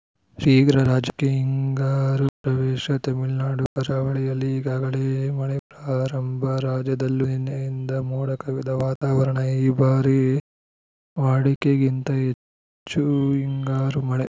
ಶೀಘ್ರ ರಾಜ್ಯಕ್ಕೆ ಹಿಂಗಾರು ಪ್ರವೇಶ ತಮಿಳುನಾಡು ಕರಾವಳಿಯಲ್ಲಿ ಈಗಾಗಲೇ ಮಳೆ ಪ್ರಾರಂಭ ರಾಜ್ಯದಲ್ಲೂ ನಿನ್ನೆಯಿಂದ ಮೋಡ ಕವಿದ ವಾತಾವರಣ ಈ ಬಾರಿ ವಾಡಿಕೆಗಿಂತ ಹೆಚ್ಚು ಹಿಂಗಾರು ಮಳೆ